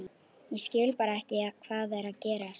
Ég skil bara ekki hvað er að gerast.